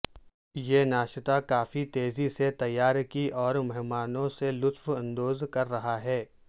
یہ ناشتا کافی تیزی سے تیار کی اور مہمانوں سے لطف اندوز کر رہا ہے